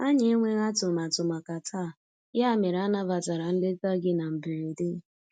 Anyị enweghị atụmatụ màkà taa, ya mere anabatara nleta gị na mberede.